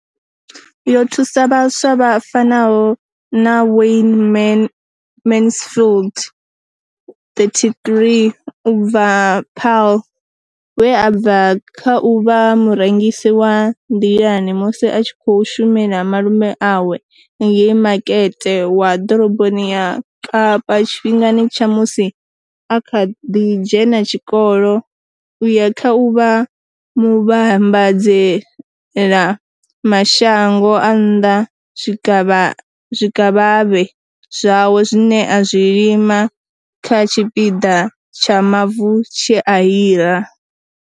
Yo thusa vhaswa vha fanaho na Wayne Mansfield, 33, u bva Paarl, we a bva kha u vha murengisi wa nḓilani musi a tshi khou shumela malume awe ngei Makete wa Ḓoroboni ya Kapa tshifhingani tsha musi a kha ḓi dzhena tshikolo u ya kha u vha muvhambadzela mashango a nnḓa zwikavhavhe zwawe zwine a zwi lima kha tshipiḓa tsha mavu tshe a hira.